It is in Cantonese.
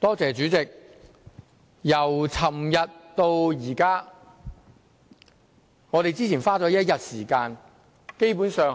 主席，由昨天到現在，我們花了一天時間，基本上